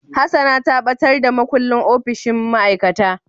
Hassana ta batar da makullin opishin ma'aikata.